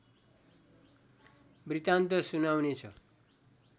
वृत्तान्त सुनाउनेछ